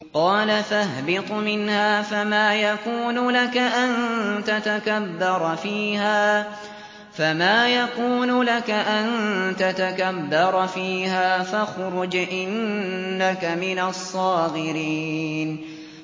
قَالَ فَاهْبِطْ مِنْهَا فَمَا يَكُونُ لَكَ أَن تَتَكَبَّرَ فِيهَا فَاخْرُجْ إِنَّكَ مِنَ الصَّاغِرِينَ